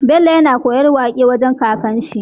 Bello yAna koyan waƙe wajan kakar shi